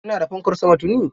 Ina da fankar sama tuni.